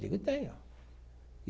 Eu digo, tem ó.